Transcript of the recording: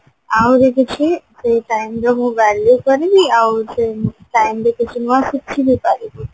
ଆହୁରି କିଛି ସେଇ time ର ମୁଁ value କରିବି ଆଉ ସେଇ time ରେ ପାରିବି